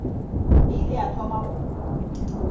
e ile ya thoma go